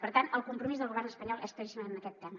per tant el compromís del govern espanyol és claríssim en aquest tema